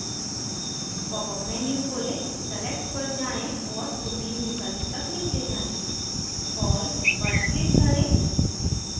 popअप menu खोलें select पर जाएँ और protein विकल्प तक नीचे जाएँ all पर click करें